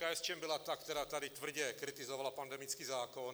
KSČM byla ta, která tady tvrdě kritizovala pandemický zákon.